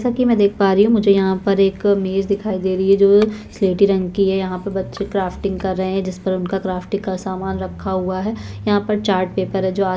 जैसा की मै देख पा रही हूँ मुझे यहाँ पर एक मेज दिखाई दे रही हैं जो स्लेटी रंग की है यहाँ पे बच्चे क्राफ्टिंग कर रहै हैं जिसपर उनका क्राफ्टिंग का सामान रखा हुआ है यहाँ पर चार्ट पेपर है जो--